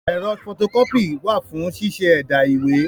Ẹ̀rọ fọto kọ́pì wà fún ṣíṣẹ́ ẹ̀dà ìwé.